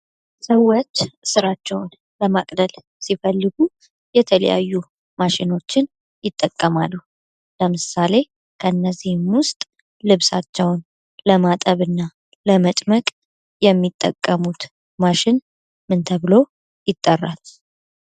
ሰዎች ስራቸውን ለማቅለል ሲፈልጉ የተለያዩ ማሽኖችን ይጠቀማሉ። ለምሳሌ ከነዚህም ውስጥ ልብሳቸውን ለማጠብና ለመጭመቅ የሚጠቀሙት ማሽን ምን ተብሎ ይጠራል?